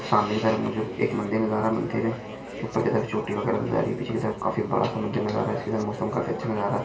सामने की तरफ मुझे एक मंदिर नजर आ रहा है ऊपर की तरफ छोटी वगैरा नजर आ रही है पीछे की तरफ काफी बड़ा सा मंदिर नजर आ रहा है इसके साथ मौसम भी काफी अच्छा नजर आ रहा है।